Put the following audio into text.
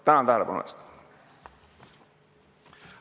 Tänan tähelepanu eest!